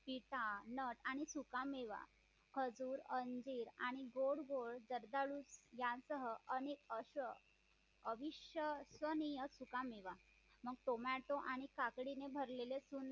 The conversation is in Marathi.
अन्न आणि सुकामेवा, खजूर, अंजीर गोड गोड जरदाळू यासह अवसनीय सुकामेवा मग tomato आणि काकडी ने भरलेले सुंदर